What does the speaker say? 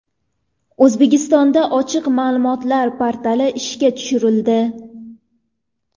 O‘zbekistonda ochiq ma’lumotlar portali ishga tushirildi.